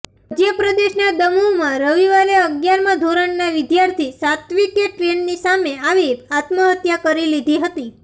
મધ્ય પ્રદેશના દમોહમાં રવિવારે અગિયારમા ધોરણના વિદ્યાર્થી સાત્ત્વિકે ટ્રેનની સામે આવી આત્મહત્યા કરી લીધી હતી